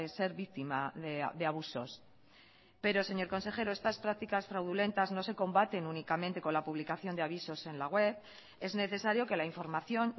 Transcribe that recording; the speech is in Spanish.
ser víctima de abusos pero señor consejero estas prácticas fraudulentas no se combaten únicamente con la publicación de avisos en la web es necesario que la información